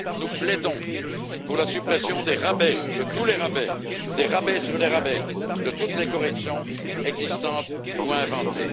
Nous plaidons pour la suppression des rabais, de tous les rabais, des rabais sur les rabais, de toutes les corrections existantes ou inventées.